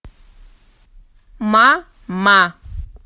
мама